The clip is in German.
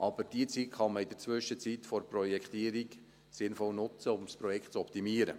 Aber diese Zeit kann man in der Zwischenzeit für die Projektierung sinnvoll nutzen, um das Projekt zu optimieren.